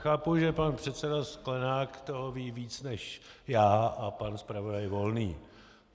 Chápu, že pan předseda Sklenák toho ví víc než já a pan zpravodaj Volný.